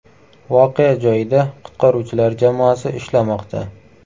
Voqea joyida qutqaruvchilar jamoasi ishlamoqda.